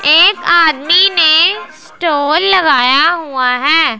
एक आदमी ने स्टॉल लगाया हुआ है।